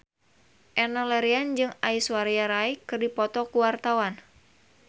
Enno Lerian jeung Aishwarya Rai keur dipoto ku wartawan